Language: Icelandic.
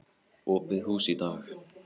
Opið hús í dag.